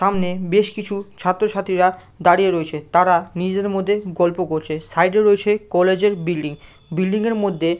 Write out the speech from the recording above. সামনে বেশ কিছু ছাত্রছাত্রীরা দাঁড়িয়ে রয়েছে তারা নিজেদের মধ্যে গল্প করছে সাইড -এ রয়েছে কলেজ -এর বিল্ডিং বিল্ডিং -এর মধ্যে --